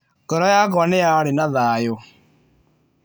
Ngoro yakwa nĩ yarĩ na thayũ.